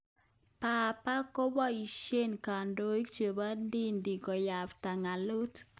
Papa kopeshe kandoik chebo dinit konyabta ngalot.